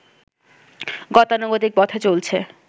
গতানুগতিক পথে চলছে